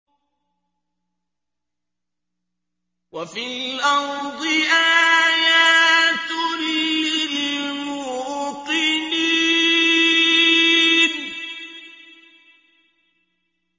وَفِي الْأَرْضِ آيَاتٌ لِّلْمُوقِنِينَ